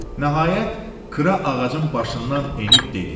Nəhayət, Kra ağacın başından enib dedi: